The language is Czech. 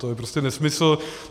To je prostě nesmysl.